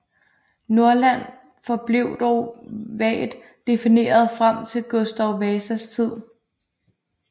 Norrland forblev dog vagt defineret frem til Gustav Vasas tid